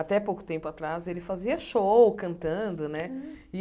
Até pouco tempo atrás, ele fazia show cantando né e.